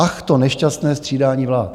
Ach, to nešťastné střídání vlád.